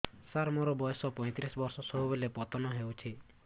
ସାର ମୋର ବୟସ ପୈତିରିଶ ବର୍ଷ ସବୁବେଳେ ପତନ ହେଉଛି